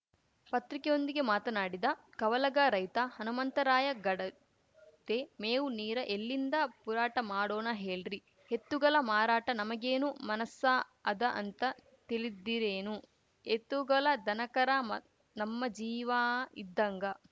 ಪತ್ರಿಕೆಯೊಂದಿಗೆ ಮಾತನಾಡಿದ ಕವಲಗಾ ರೈತ ಹಣಮಂತರಾಯ ಗಡದೆ ಮೇವು ನೀರ ಎಲ್ಲಿಂದ ಪುರಾಠ ಮಾಡೋಣ ಹೇಳ್ರಿ ಹೆತ್ತುಗಳ ಮಾರಾಟ ನಮಗೇನು ಮನಸ್ಸ ಅದ ಅಂತ ತಿಳಿದಿರೇನು ಎತ್ತುಗಲ ದನಕರಾ ಮ ನಮ್ಮ ಜೀಂವಾ ಇದ್ದಂಗ